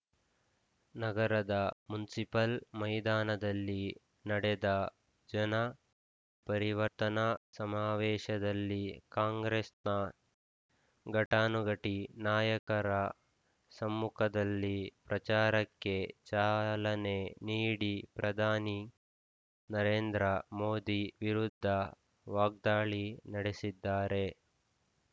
ನಗರದ ಮುನ್ಸಿಪಲ್ ಮೈದಾನದಲ್ಲಿ ನಡೆದ ಜನ ಪರಿವರ್ತನಾ ಸಮಾವೇಶದಲ್ಲಿ ಕಾಂಗ್ರೆಸ್‌ನ ಘಟಾನುಘಟಿ ನಾಯಕರ ಸಮ್ಮುಖದಲ್ಲಿ ಪ್ರಚಾರಕ್ಕೆ ಚಾಲನೆ ನೀಡಿ ಪ್ರಧಾನಿ ನರೇಂದ್ರ ಮೋದಿ ವಿರುದ್ಧ ವಾಗ್ದಾಳಿ ನಡೆಸಿದ್ದಾರೆ